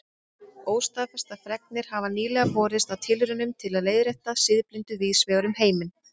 Óstaðfestar fregnir hafa nýlega borist af tilraunum til að leiðrétta siðblindu víðs vegar um heiminn.